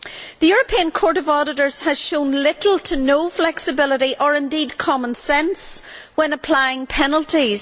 The European Court of Auditors has shown little to no flexibility, or indeed common sense, when applying penalties.